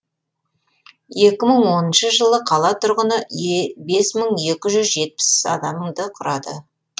екі мың оныншы жылы қала тұрғыны бес мың екі жүз жетпіс адамды құрады